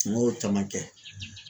N y'o caman kɛ.